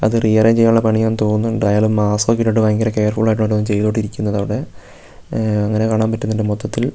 അത് റീഅറേഞ്ച് ചെയ്യാനുള്ള പണിയാന്ന് തോന്നുന്നുണ്ട് അയാള് മാസ്ക് ഒക്കെ ഇട്ടിട്ട് ഭയങ്കര കെയർഫുൾ ആയിട്ടാണ് വന്ന് ഓരോന്ന് ചെയ്തോണ്ടിരിക്കുന്നത് അവിടെ ഉം അങ്ങനെ കാണാൻ പറ്റുന്നുണ്ട് മൊത്തത്തിൽ.